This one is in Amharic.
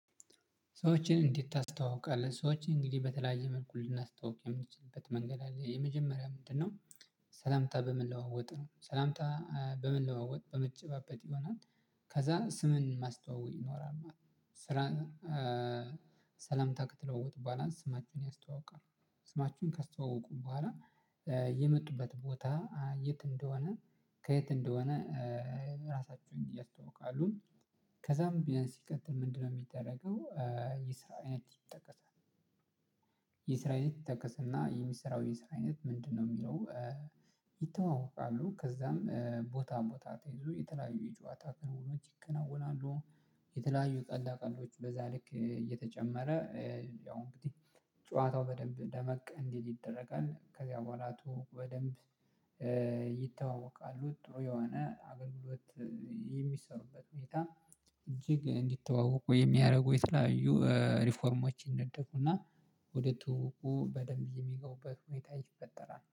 ሰዎችን እንዴት ታስተዋውቃለህ ሰዎች እንግዲህ በተለያየ መልኩ ልናስተዋውቅ የምንችልበት መንገድ አለ የመጀመሪያ ምንድነው? ሰላምታ በምንለዋወጥ ነው ሰላምታ በምንለዋወጥ በመጨባበጥ ይሆናል። ከዛ ስምን ማስተዋወቅ ይኖራል ማለት ነው። ስራን ሰላምታ ከተለወጡ በሗላንስ ስማችንን ያስተዋውቃል። ስማችሁን ካስተዋወቁ በኋላ የመጡበት ቦታ የት እንደሆነ ከየት እንደሆነ። ራሳችሁን እያስተዋውቃሉ። ከዛም ቢያንስ ይቀጥል ምንድነው የሚደረገው ይጠቀሳል የሠራዊነት ይጠቀስና የሚሰራው ይስራዊነት ምንድነው የሚለው? ይተዋወቃሉ ከዛም ቦታ ሞታ ተይዞ የተለያዩ የጨዋታ ክርስቶስ ይከናወናሉ። የተለያዩ ቀልድ ቀልዶች በዛ ልክ እየተጨመረ ያው እንግዲህ ጨዋታው በደንብ ደመቅ እንዲል ይደረጋል። ከዚያ በኋላ በደንብ ይተዋወቃሉ። ጥሩ የሆነ አገልግሎት የሚሰሩበት ሁኔታ እጅግ እንዲተዋወቁ የሚያደርጉ የተለያዩ ሪፎርሞችን ነጠፉና ወደ ትውውቁ በደንብ የሚገውበት ሁኔታ ይፈጠራል